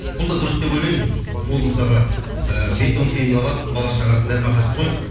ол да дұрыс деп ойлаймын ол мысалға ііі бес он тиынын алады бала шағасының нәпақасы ғой